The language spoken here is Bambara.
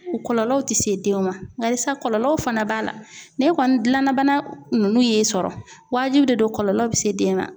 U Kɔlɔlɔw ti se denw ma alisa kɔlɔlɔw fana b'a la ne kɔni gilanna bana nunnu ye e sɔrɔ wajibi de don kɔlɔlɔ bi se den ma